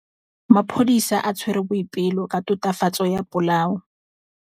Maphodisa a tshwere Boipelo ka tatofatsô ya polaô.